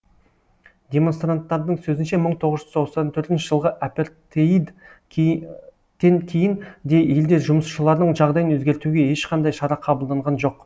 демонстранттардың сөзінше мың тоғыз жүз тоқсан төртінші жылғы апертеид тен кейін де елде жұмысшылардың жағдайын өзгертуге ешқандай шара қабылданған жоқ